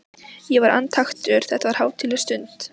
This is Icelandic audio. Ég var andaktugur, þetta var hátíðleg stund.